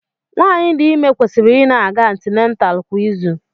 Nwaanyị dị ime kwesịrị ị na-aga antinental kwa izu.